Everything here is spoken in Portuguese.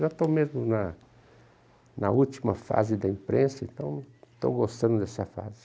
Já estou mesmo na na última fase da imprensa, então estou gostando dessa fase.